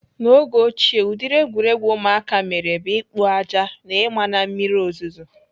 N'oge ochie ụdịrị egwuregwu ụmụaka mere bụ ikpo aja na ima na mmiri ozuzo.